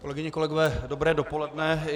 Kolegyně, kolegové, dobré dopoledne.